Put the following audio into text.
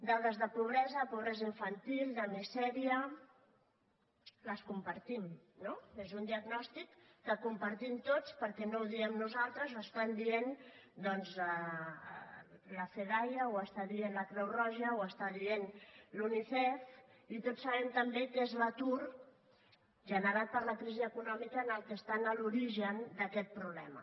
dades de pobresa pobresa infantil de misèria les compartim no és un diagnòstic que compartim tots perquè no ho diem nosaltres ho està dient la fedaia ho està dient la creu roja ho està dient la unicef i tots sabem també que és l’atur generat per la crisi econòmica el que està a l’origen d’aquest problema